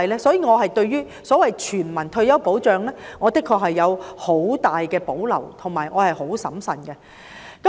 所以，對於所謂全民退休保障，我確實有很大保留，必須審慎看待。